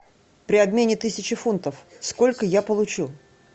при обмене тысячи фунтов сколько я получу